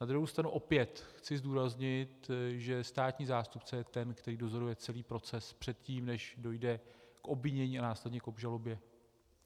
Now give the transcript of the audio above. Na druhou stranu opět chci zdůraznit, že státní zástupce je ten, který dozoruje celý proces předtím, než dojde k obvinění a následně k obžalobě.